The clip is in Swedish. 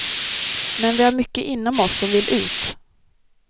Men vi har mycket inom oss som vill ut.